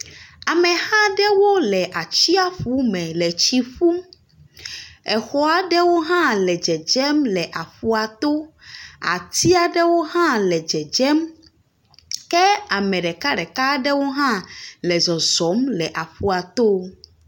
Amexa aɖewo le atsiƒu me le tsi ƒum. Exɔ aɖewo hã le dzedzem le aƒua to. Ati aɖewo hã le dzedzem. Ke ame ɖekaɖeka aɖewo hã le zɔzɔm le aƒua to.